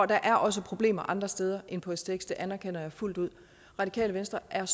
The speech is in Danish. der er også problemer andre steder end på stx det anerkender jeg fuldt ud radikale venstre er